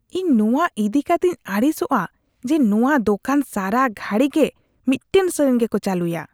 ᱤᱧ ᱱᱚᱣᱟ ᱤᱫᱤ ᱠᱟᱛᱮᱧ ᱟᱹᱲᱤᱥᱚᱜᱼᱟ ᱡᱮ ᱱᱚᱣᱟ ᱫᱚᱠᱟᱱ ᱥᱟᱨᱟᱼᱜᱷᱟᱹᱲᱤ ᱜᱮ ᱢᱤᱫᱛᱟᱝ ᱥᱮᱨᱮᱧ ᱜᱮᱠᱚ ᱪᱟᱹᱞᱩᱭᱟ ᱾